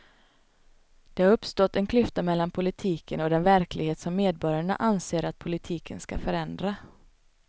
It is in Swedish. Det har uppstått en klyfta mellan politiken och den verklighet som medborgarna anser att politiken ska förändra.